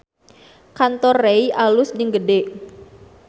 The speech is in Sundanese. Kantor Rei alus jeung gede